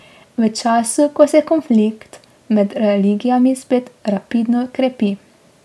V času, ko se konflikt med religijami spet rapidno krepi.